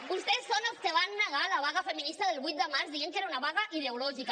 vostès són els que van negar la vaga feminista del vuit de març dient que era una vaga ideològica